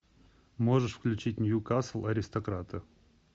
можешь включить ньюкасл аристократы